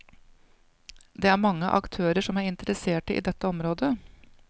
Det er mange aktørar som er interesserte i dette området.